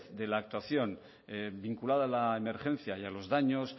de la actuación vinculada a la emergencia y a los daños